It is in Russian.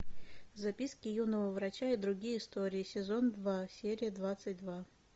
записки юного врача и другие истории сезон два серия двадцать два